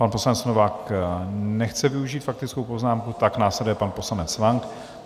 Pan poslanec Novák nechce využít faktickou poznámku, tak následuje pan poslanec Lang.